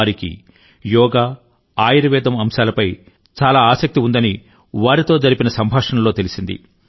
వారికి యోగా ఆయుర్వేదం అంశాలపై చాలా ఆసక్తి ఉందని వారితో సంభాషణల్లో తెలిసింది